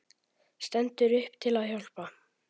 Stendur upp til að hjálpa.